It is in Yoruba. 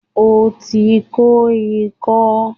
O ti kó ikọ́